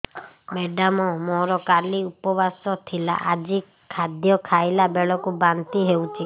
madam ମୋର କାଲି ଉପବାସ ଥିଲା ଆଜି ଖାଦ୍ୟ ଖାଇଲା ବେଳକୁ ବାନ୍ତି ହେଊଛି